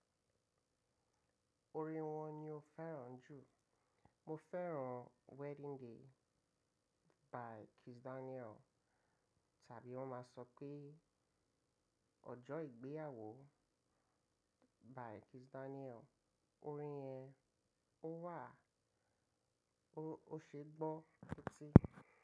Orin wo ni o fẹ́ràn jù? Mo fẹ́ràn Wedding Day by Kiss Daniel. Tàbí wọ́n ma sọ pé ọjọ́ ìgbéyàwó by Kiss Daniel. Orin yẹn ó wà, ó ṣeé gbọ́ seti.